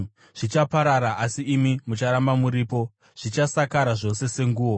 Zvichaparara, asi imi mucharamba muripo; zvichasakara zvose senguo.